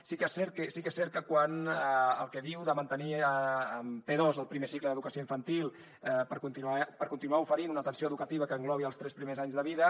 sí que és cert que el que diu de mantenir p2 el primer cicle d’educació infantil per continuar oferint una atenció educativa que englobi els tres primers anys de vida